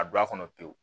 A don a kɔnɔ pewu